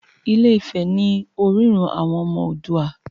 Ilé-ifè ní orírun àwọn ọmọ Oòduà.